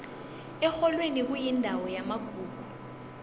erholweni kuyindawo yamagugu